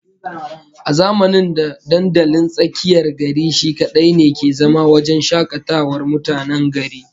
A zamanin da dandalin tsakiyar gari shi kadai ne ke zama wajen shakatawar mutanen gari